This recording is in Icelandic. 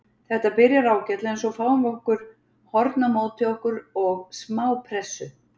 Þetta byrjar ágætlega en svo fáum við nokkur horn á móti okkur og smá pressu.